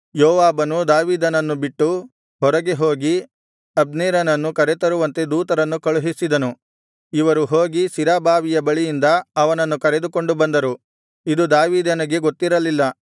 ಯೋವಾಬನು ದಾವೀದನನ್ನು ಬಿಟ್ಟು ಹೊರಗೆ ಹೋಗಿ ಅಬ್ನೇರನನ್ನು ಕರೆತರುವಂತೆ ದೂತರನ್ನು ಕಳುಹಿಸಿದನು ಇವರು ಹೋಗಿ ಸಿರಾ ಬಾವಿಯ ಬಳಿಯಿಂದ ಅವನನ್ನು ಕರೆದುಕೊಂಡು ಬಂದರು ಇದು ದಾವೀದನಿಗೆ ಗೊತ್ತಿರಲಿಲ್ಲ